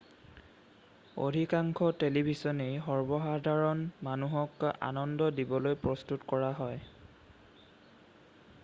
অধিকাংশ টেলিভিছনেই সৰ্বসাধাৰণ মানুহক আনন্দ দিবলৈ প্ৰস্তুত কৰা হয়৷